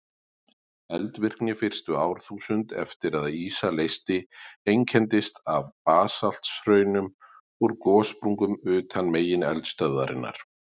Eldvirkni fyrstu árþúsund eftir að ísa leysti einkenndist af basalthraunum úr gossprungum utan megineldstöðvarinnar.